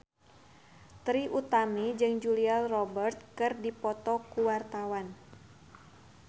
Trie Utami jeung Julia Robert keur dipoto ku wartawan